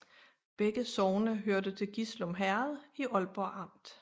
Begge sogne hørte til Gislum Herred i Aalborg Amt